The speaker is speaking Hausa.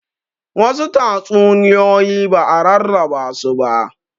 Wasu tatsuniyoyi ba'a rarraba su ba